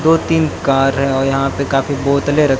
दो तीन कार हैं यहां पे काफी बोतले र--